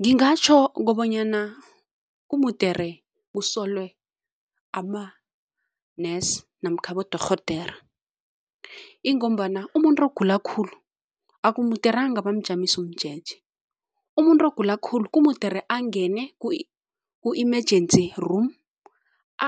Ngingatjho kobanyana kumudere kusolwe ama-nurse namkha abodorhodera ingombana umuntu ogula khulu, akumuderanga bamjamise umjeje. Umuntu ogula kumudere angene ku-emergency room